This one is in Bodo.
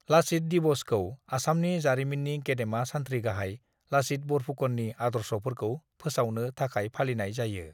लचित दिवस' खौ आसामनि जारिमिननि गेदेमा सान्थ्रि गाहाय लाचित बरफुकननि आदर्शफोरखौ फोसावनो थाखाय फालिनाय जायो।